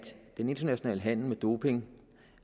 den internationale handel med doping